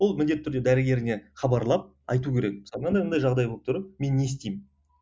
ол міндетті түрде дәрігеріне хабарлап айту керек мынандай мынандай жағдай болып тұр мен не істеймін